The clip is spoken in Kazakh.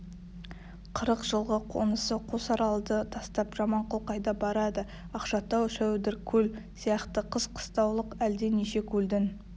қырық жылғы қонысы қосаралды тастап жаманқұл қайда барады ақшатау шәудіркөл сияқты қыс қыстаулық әлде неше көлдің